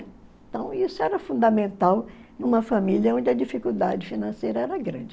Então, isso era fundamental numa família onde a dificuldade financeira era grande.